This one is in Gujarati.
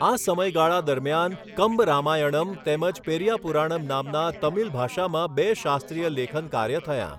આ સમયગાળા દરમિયાન કંબરામાયણમ તેમજ પેરીયાપૂરાણમ નામના તમિલ ભાષામાં બે શાસ્ત્રીય લેખન કાર્ય થયાં.